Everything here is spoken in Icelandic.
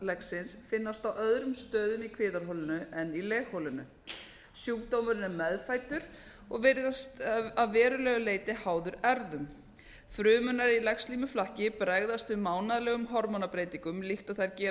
legsins finnast á öðrum stöðum í kviðarholinu en í legholinu sjúkdómurinn er meðfæddur og virðist að verulegu leyti háður erfðum frumurnar í legslímuflakki bregðast við mánaðarlegum hormónabreytingum líkt og þær gera á